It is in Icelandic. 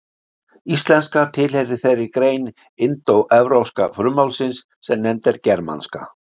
Íslenska tilheyrir þeirri grein indóevrópska frummálsins sem nefnd er germanska.